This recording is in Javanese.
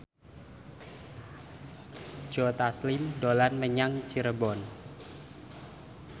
Joe Taslim dolan menyang Cirebon